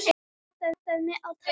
Vantaði á mig tær?